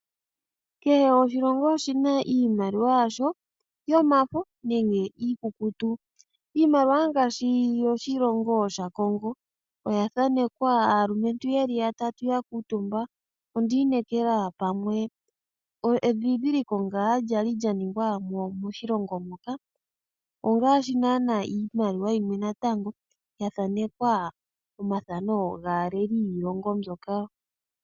Kehe oshilongo oshi na iimaliwa yasho yomafo nenge iikukutu. Iimaliwa ngaashi yoshilongo shaCongo oya thanekwa aalumentu ye li ya tatu ya kuutumba. Ondi inekela pamwe edhindhiliko ngaa lya li lya ningwa moshilongo moka. Iimaliwa yimwe oya thanekwa omathano gaaleli yiilongo mbyoka.